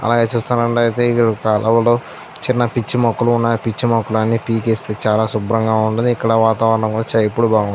అలాగే చూస్తున్నట్లైతే ఇక్కడ ఒక రోడ్ చిన్న పిచ్చిమొక్కలు ఉన్నాయ్ పిచ్చిమొక్కలు ని పీకిస్తే చాల సుబ్రంగా ఉంటాది ఇక్కడ వాతావరణం కూడా ఎప్పుడూ బాగా ఉంటుంది.